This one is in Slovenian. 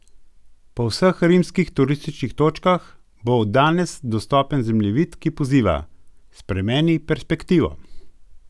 Po vseh rimskih turističnih točkah bo od danes dostopen zemljevid, ki poziva: "Spremeni perspektivo.